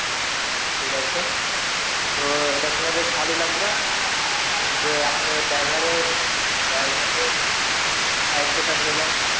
আচ্ছা ঠিক আছে তো এটা শুনে বেশ ভালো লাগলো যে আপনি driver এর driver দের দায়িত্ব টা নিলেন.